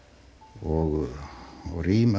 og rím af